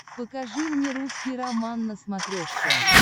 покажи мне русский роман на смотрешке